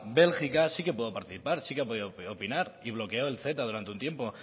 bélgica sí que puede participar sí que ha podido opinar y bloqueó el ceta durante un tiempo